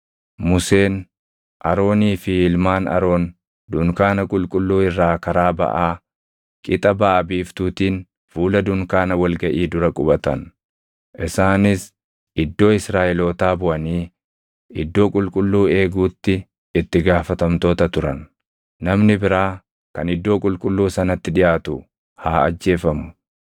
Museen, Aroonii fi ilmaan Aroon dunkaana qulqulluu irraa karaa baʼaa, qixa baʼa biiftuutiin fuula dunkaana wal gaʼii dura qubatan. Isaanis iddoo Israaʼelootaa buʼanii iddoo qulqulluu eeguutti itti gaafatamtoota turan. Namni biraa kan iddoo qulqulluu sanatti dhiʼaatu haa ajjeefamu.